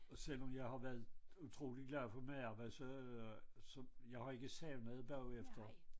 Og selvom jeg har været utroligt glad for mit arbejde så øh så jeg har ikke savnet det bagefter